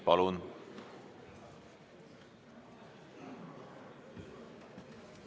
Palun!